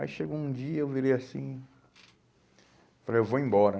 Aí chegou um dia, eu virei assim, falei, eu vou embora.